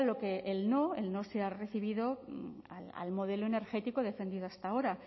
pero claro lo que el no se ha recibido al modelo energético defendido hasta ahora